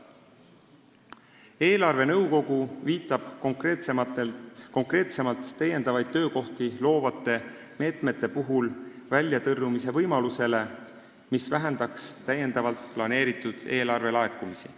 Eelarvenõukogu viitab konkreetsemalt täiendavaid töökohti loovate meetmete puhul väljatõrjumise võimalusele, mis vähendaks täiendavalt planeeritud eelarvelaekumisi.